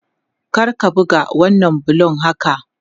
Kar ka buga wannan bulon haka!